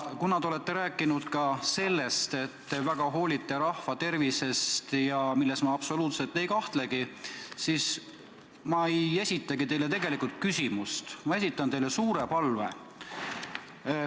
Kuna te olete rääkinud, et te väga hoolite rahva tervisest – milles ma absoluutselt ei kahtle –, siis ma ei esitagi teile küsimust, vaid esitan teile suure palve.